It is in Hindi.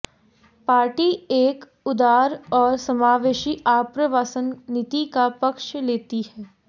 पार्टी एक उदार और समावेशी आप्रवासन नीति का पक्ष लेती है